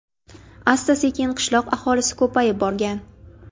Asta-sekin qishloq aholisi ko‘payib borgan.